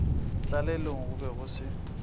tlalelong go be go se